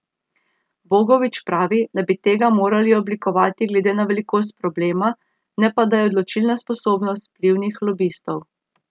Bogovič pravi, da bi tega morali oblikovati glede na velikost problema, ne pa da je odločilna sposobnost vplivnih lobistov.